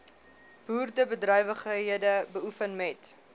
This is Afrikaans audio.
boerderybedrywighede beoefen moet